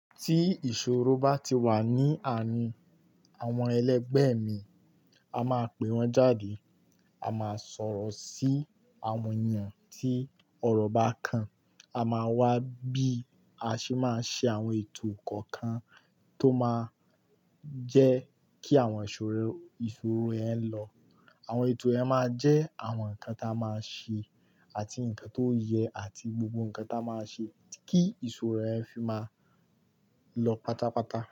Tí ìṣòro bá ti wà ní àárín àwọn ẹlẹgbẹ́ mi, a máa pè wọ́n jáde. A máa sọ̀rọ̀ sí àwọn ènìyàn tí ọ̀rọ̀ bá kàn. A máa wá bí a ṣe máa ṣe àwọn ètò kọ̀ọ̀kan tó máa jẹ́ kí àwọn ìṣòro, ìṣòro yẹń lọ. Àwọn ètò ẹ máa jẹ́ àwọn nǹkan tí a máa ṣe àti nǹkan tó yẹ àti gbogbo nǹkan tí a máa ṣe kí ìṣòro ẹ fi máa lọ pátápátá.